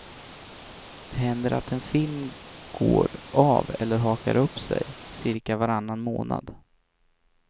Det händer att en film går av eller hakar upp sig cirka varannan månad.